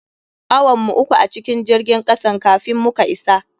Awan mu uku a cikin jirgin kasan kafin muka isa.